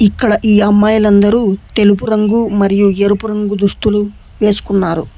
ఈ అమ్మాయిలు అందరూ తెలుపు రంగు మరియు ఎరుపు రంగు దుస్తులు వేసుకున్నారు.